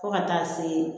Fo ka taa se